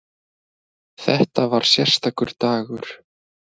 Þetta var sérstakur dagur.